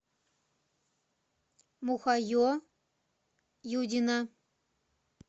мухае юдина